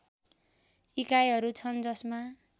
इकाइहरू छन् जसमा